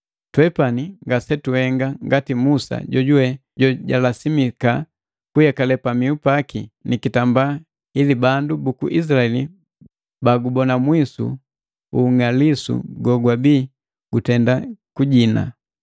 Twepani ngasetuhenga ngati Musa jojuwe jojalasimika kuyekale pamihu paki nikitambala ili bandu buku Izilaeli bagubona mwisu ung'alisu gogwabii gutenda kujina.